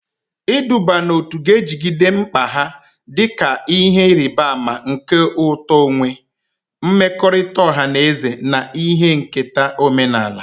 Iduba n'otu ga-ejigide mkpa ha dị ka ihe nrịbama nke uto onwe onye, mmekọrịta ọha na eze, na ihe nketa omenala.